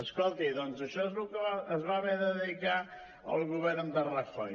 escolti doncs a això és al que es va haver de dedicar el govern de rajoy